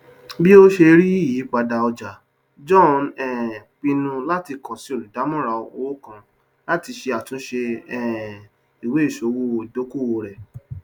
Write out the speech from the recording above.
bí ó ṣe rí ìyípadà ọjà john um pinnu láti kan sí olùdàmòràn owó kan láti ṣe àtúnṣe um iweiṣòwò ìdókòwò rẹ